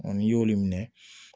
n'i y'olu minɛ